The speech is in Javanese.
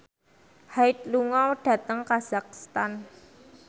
Hyde lunga dhateng kazakhstan